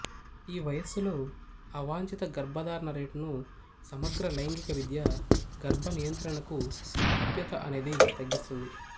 ఈ వయస్సులో అవాంఛిత గర్భధారణ రేటును సమగ్ర లైంగిక విద్య గర్భనియంత్రణకు ప్రాప్యత అనేది తగ్గిస్తుంది